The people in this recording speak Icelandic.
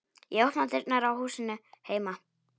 Ég opna dyrnar á húsinu heima.